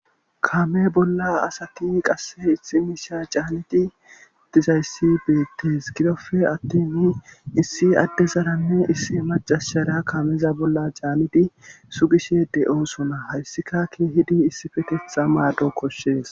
kame bolla asati qasse issi miisha caaniti dizayssi beettes gidofe atteni issi adde zaranne issi macashshara kameza bolla caamidi sugishe de7osuna hayssika ke hidi issi fetetha maado koshshees